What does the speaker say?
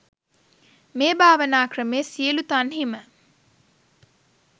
මේ භාවනා ක්‍රමය සියලු තන්හිම